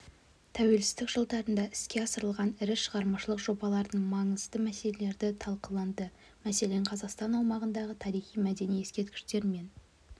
тәуелсіздік жылдарында іске асырылған ірі шығармашылық жобалардың маңызды мәселелері талқыланды мәселен қазақстан аумағындағы тарихи-мәдени ескерткіштер мен